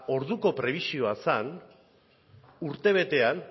orduko prebisioa zen urtebetean